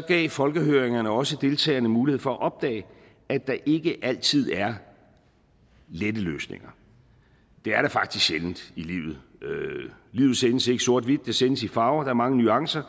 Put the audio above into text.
gav folkehøringerne også deltagerne mulighed for at opdage at der ikke altid er lette løsninger det er der faktisk sjældent i livet livet sendes ikke sort hvidt det sendes i farver der er mange nuancer